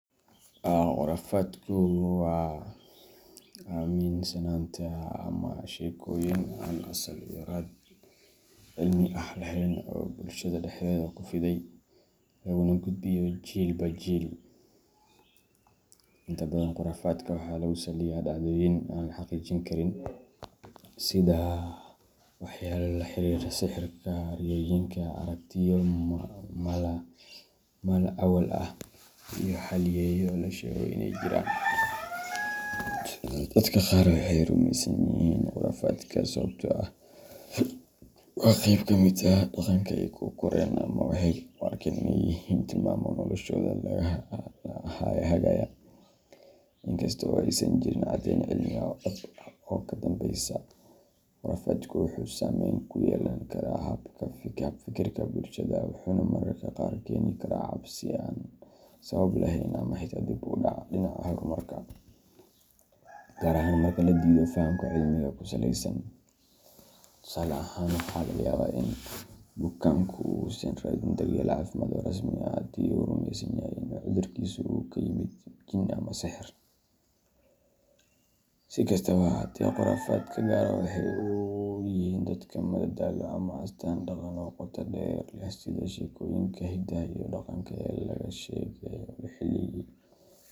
Khurafaadku waa aaminsanaanta ama sheekooyin aan sal iyo raad cilmi ah lahayn oo bulshada dhexdeeda ku fiday, laguna gudbiyo jiilba jiil. Inta badan khuraafaadka waxaa lagu saliyaa dhacdooyin aan la xaqiijin karin, sida waxyaabo la xiriira sixirka, riyooyinka, aragtiyo mala-awaal ah, iyo halyeeyo la sheego in ay jiraan. Dadka qaar waxay rumeysan yihiin khuraafaadka sababtoo ah waa qayb ka mid ah dhaqanka ay ku koreen ama waxay u arkaan inay yihiin tilmaamo noloshooda hagaya, inkasta oo aysan jirin caddayn cilmi ah oo dhab ah oo ka dambeysa. Khurafaadku wuxuu saamayn ku yeelan karaa hab-fikirka bulshada, wuxuuna mararka qaar keeni karaa cabsi aan sabab lahayn ama xitaa dib u dhac dhinaca horumarka, gaar ahaan marka la diido fahamka cilmiga ku saleysan. Tusaale ahaan, waxaa laga yaabaa in bukaanku uusan raadinin daryeel caafimaad oo rasmi ah haddii uu rumeysan yahay in cudurkiisu uu ka yimid jinn ama sixir. Si kastaba ha ahaatee, khuraafaadka qaar waxay u yihiin dadka madadaalo ama astaan dhaqan oo qoto dheer leh, sida sheekooyinka hidaha iyo dhaqanka ee laga sheekeeyo.